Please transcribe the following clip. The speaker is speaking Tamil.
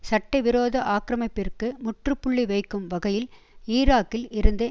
சட்டவிரோத ஆக்கிரமிப்பிற்கு முற்றுப்புள்ளி வைக்கும் வகையில் ஈராக்கில் இருந்து